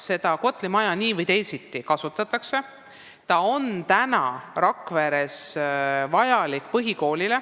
Seda Kotli projekteeritud maja nii või teisiti kasutatakse, ta on Rakveres vajalik põhikoolile.